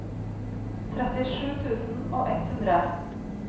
trettisju tusen og ett hundre